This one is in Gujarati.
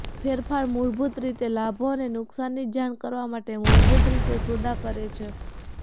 ફેરફાર મૂળભૂત રીતે લાભો અને નુકસાનની જાણ કરવા સાથે મૂળભૂત રીતે સોદા કરે છે